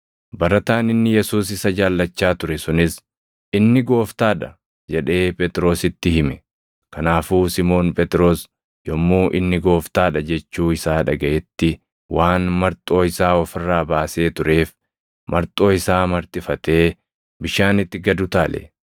Barataan inni Yesuus isa jaallachaa ture sunis, “Inni Gooftaa dha!” jedhee Phexrositti hime. Kanaafuu Simoon Phexros yommuu “Inni Gooftaa dha” jechuu isaa dhagaʼetti waan marxoo isaa of irraa baasee tureef, marxoo isaa marxifatee bishaanitti gad utaale.